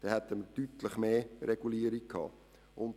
Dann hätten wir eine deutlich stärkere Regulierung gehabt.